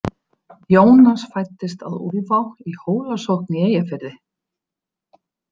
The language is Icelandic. Jónas fæddist að Úlfá í Hólasókn í Eyjafirði.